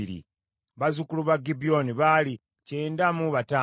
bazzukulu ba Gibyoni baali kyenda mu bataano (95).